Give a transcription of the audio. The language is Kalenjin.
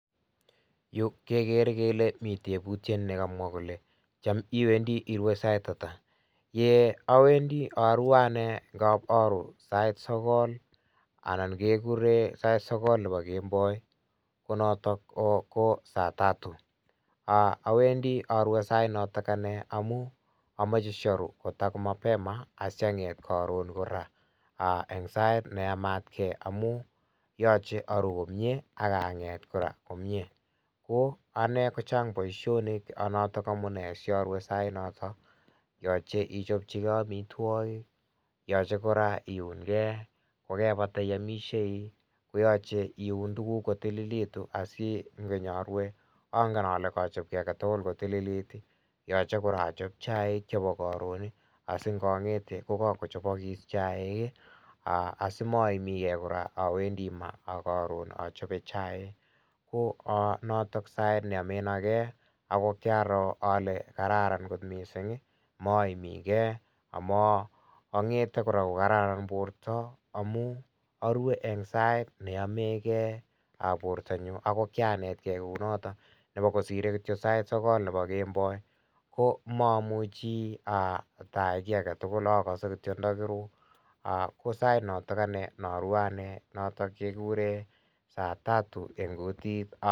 Yuu kegere kele Mii tebutiet nekamwaah kole chaam iwendii irue sait ata ye awendii arue ane ngapi aruuh sait sogol, anan kegureen sait sogol nebo kemboi ko notoon ko saa tatu awendii arue sait notoog ane amuun amache siaruu mapema asianget karoon mapema aah en sait ne yamaat gei amuun yachei aruu komyei akangeet kora komyei ko ane ko chaang boisionik notoon amunei siarue sait notoon yachei ichaapchikei amitwagiik yachei kora iungei ,kogebata iamishei ii koyachei iun tuguuk kotililegituun asinyaan arue agen ale kachaap kiy age tugul kotililit ii yachei kora achape chaik chebo karoon ii asi naan ngetei ko kagochapagis chaik ii aah asimaimii gei awendii maa ak achape chaik ko notoon sait neamen agei agoi kirale kararan koot missing ii maimii kei angethe kora ko kararan borto amuun arue en sait ne yameen gei bortonyuun ago kianet kei kou notoon nebo kityoi kisirei sait sogol nebo kemboi ko mamuchi I tayai kiit age tugul agase kityoi tagiruu ko sait notoon ane narue ane noton kiguren saa tatu.